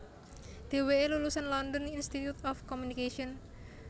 Dheweke lulusan London Institute of Communication